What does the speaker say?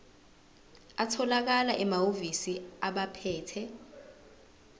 atholakala emahhovisi abaphethe